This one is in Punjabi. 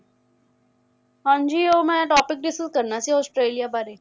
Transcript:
ਹਾਂਜੀ ਉਹ ਮੈ topic discuss ਕਰਨਾ ਸੀ ਔਸਟ੍ਰੇਲਿਆ ਬਾਰੇ